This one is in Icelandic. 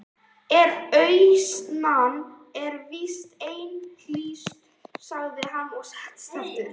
En auðnan er víst einhlítust, sagði hann og settist aftur.